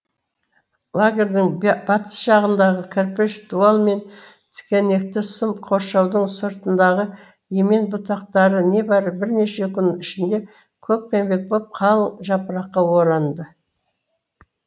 лагердің батыс жағындағы кірпіш дуал мен тікенекті сым қоршаудың сыртындағы емен бұтақтары небары бірнеше күн ішінде көкпеңбек боп қал жапыраққа оранды